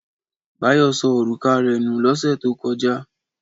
Báyọ̀ sọ òrùka rẹ̀ nù lọ́sẹ̀ tó kọjá.